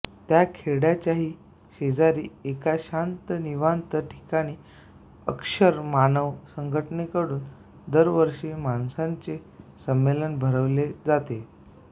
त्या खेड्याच्याही शेजारी एका शांत निवांत ठिकाणी अक्षर मानव संघटनेकडून दरवर्षी माणसांचे संमेलन भरववले जाते